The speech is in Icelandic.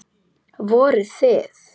Voruð þið.